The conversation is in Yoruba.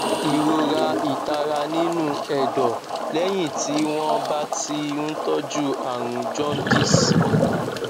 ìrora itara nínú ẹdọ lẹyìn tí wọn bá ti ń tọjú àrùn jaundice